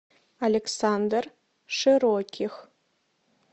александр широких